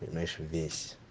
понимаешь весь